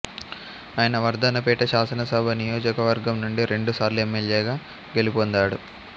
ఆయన వర్ధన్నపేట శాసనసభ నియోజకవర్గం నుంచి రెండు సార్లు ఎమ్మెల్యేగా గెలుపొందాడు